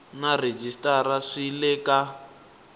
na rhejisitara swi le ka